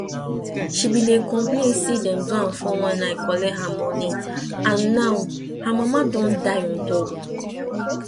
she bin dey complain say dem do am 419 collect her money and now her mama don die on top